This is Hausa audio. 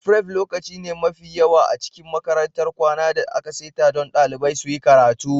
Fref lokaci ne mafi yawa a cikin makarantar kwana da aka saita don dalibai suyi karatu.